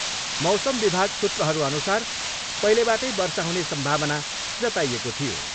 मौसम विभाग सूत्रहरूअनुसार पहिलेबाटै वर्षा हुने सम्भावना जताइएको थियो।